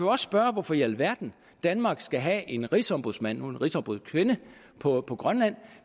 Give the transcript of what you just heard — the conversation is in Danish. også spørge hvorfor i alverden danmark skal have en rigsombudsmand nu en rigsombudskvinde på på grønland